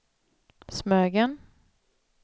Smögen